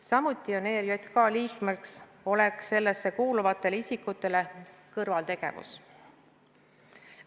Samuti on ERJK liikmeks olek sellesse kuuluvatele isikutele kõrvaltegevus.